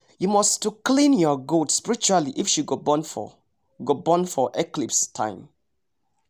you must to clean your goat spiritually if she go born for go born for eclipse time